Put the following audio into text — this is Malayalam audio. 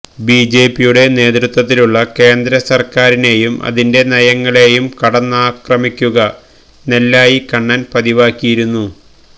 ബിജെപിയുടെ നേതൃത്വത്തിലുള്ള കേന്ദ്ര സർക്കാരിനെയും അതിന്റെ നയങ്ങളെയും കടന്നാക്രമിക്കുക നെല്ലായി കണ്ണൻ പതിവാക്കിയിരുന്നു